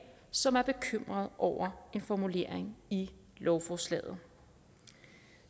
som er bekymrede over en formulering i lovforslaget